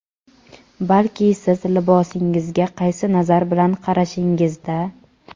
balki siz libosingizga qaysi nazar bilan qarashingizda.